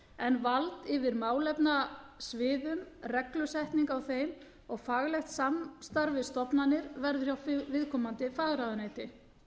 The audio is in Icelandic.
en vald yfir málefnasviðum reglusetning á þeim og faglegt samstarf við stofnanir verður hjá viðkomandi fagráðuneyti